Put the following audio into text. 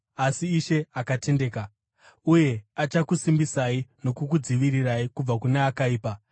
Asi Ishe akatendeka, uye achakusimbisai nokukudzivirirai kubva kune akaipa.